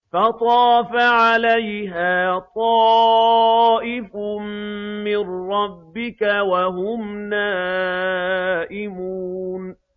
فَطَافَ عَلَيْهَا طَائِفٌ مِّن رَّبِّكَ وَهُمْ نَائِمُونَ